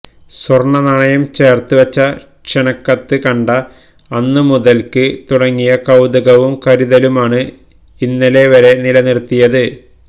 സ്വർണ നാണയം ചേർത്ത് വെച്ച ക്ഷണക്കത്ത് കണ്ട അന്ന് മുതൽക്ക് തുടങ്ങിയ കൌതുകവും കരുതലുമാണ് ഇന്നലെ വരെ നിലനിർത്തിയത്